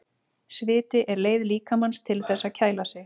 Sviti er leið líkamans til þess að kæla sig.